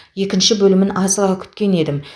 екінші бөлімін асыға күткен едім